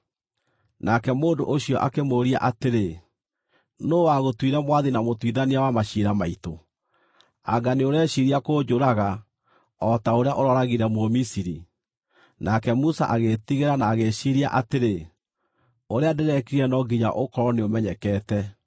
Nake mũndũ ũcio akĩmũũria atĩrĩ, “Nũũ wagũtuire mwathi na mũtuithania wa maciira maitũ? Anga nĩũreciiria kũnjũraga o ta ũrĩa ũrooragire Mũmisiri?” Nake Musa agĩĩtigĩra na agĩĩciiria atĩrĩ, “Ũrĩa ndĩrekire no nginya ũkorwo nĩũmenyekete.”